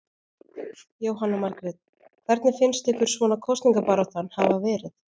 Jóhanna Margrét: Hvernig finnst ykkur svona kosningabaráttan hafa verið?